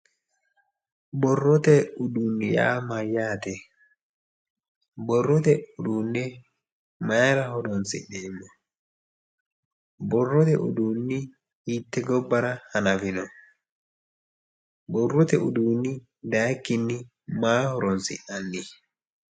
Borrote uduunni yaa mayyate borrote uduunne mayra horonsi'neemmo borrote uduunni hiitte gobbara hanafino borrote uduunni dayikkinni maa horonsi'nanni